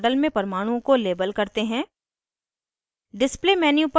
सबसे पहले model मे परमाणुओं को label करते हैं